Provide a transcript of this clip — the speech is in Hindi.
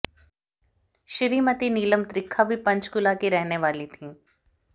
श्रीमती नीलम त्रिखा भी पंचकूला की रहने वाली थी